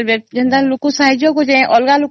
ଯେମିତି ଲୋକଙ୍କୁ ସାହାର୍ଯ୍ଯ ହବ